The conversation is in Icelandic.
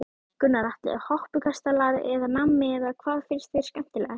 Gunnar Atli: Hoppukastalar eða nammi eða hvað finnst þér skemmtilegt?